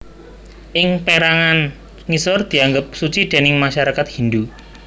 Ing pérangan ngisor dianggep suci déning masyarakat Hindhu